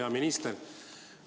Hea minister!